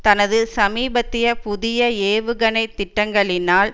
தனது சமீபத்திய புதிய ஏவுகணை திட்டங்களினால்